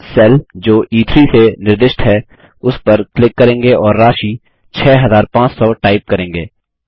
हम सेल जो ई3 से निर्दिष्ट है उस पर क्लिक करेंगे और राशि 6500 टाइप करेंगे